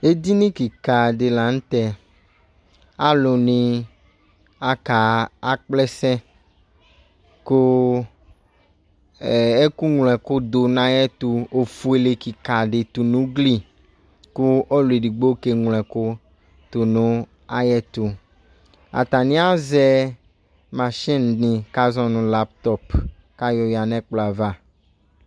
Ɛdini keka de lantɛAlu ne akaa akplɛsɛ ko ɛɛ eko nwlo ɛko do nayɛto ofuele keka de to no ugli ko ɔluɛdigbo ke nwlo ɛko to no ayɛto Atane azɛ machine ne ka zɔ no laptɔp ka yɔ yia no ɛkplɔava